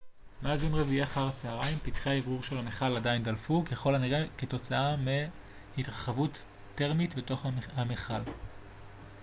מאז יום רביעי אחר הצהריים פתחי האוורור של המכל עדיין דלפו ככל הנראה כתוצאה מהתרחבות תרמית בתוך המכל